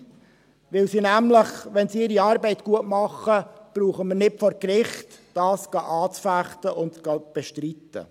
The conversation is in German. Denn wenn er nämlich seine Arbeit gut macht, brauchen wir nicht vor Gericht zu ziehen, um dies anzufechten und zu bestreiten.